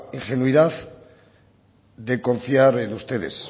ingenuidad de confiar en ustedes